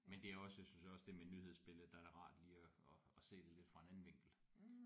Men det er også jeg synes også det med nyhedsbilledet der er det rart lige at at se det lidt fra en anden vinkel